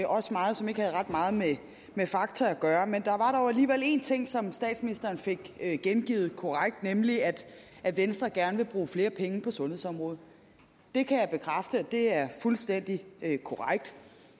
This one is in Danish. også meget som ikke har ret meget med fakta at gøre men der var dog alligevel en ting som statsministeren fik gengivet korrekt nemlig at at venstre gerne vil bruge flere penge på sundhedsområdet det kan jeg bekræfte det er fuldstændig korrekt